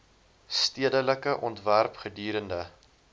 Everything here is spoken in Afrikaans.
stedelike ontwerp gedurende